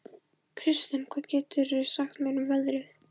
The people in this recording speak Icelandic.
Kirsten, hvað geturðu sagt mér um veðrið?